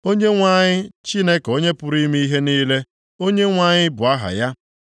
Onyenwe anyị Chineke onye pụrụ ime ihe niile, Onyenwe anyị bụ aha ya.